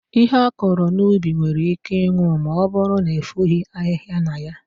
Ihe akọrọ n'ubi nwere íké ịnwụ ma ọbụrụ na efoghi ahịhịa na ya.